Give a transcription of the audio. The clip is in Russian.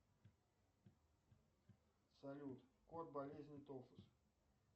салют код болезни тофус